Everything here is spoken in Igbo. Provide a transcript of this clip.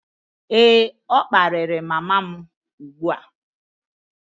Ee, ọ kparịrị mama m ugbu a